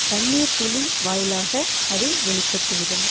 கண்ணீர்த்துளி வாயிலாக அது வெளிப்பட்டுவிடும்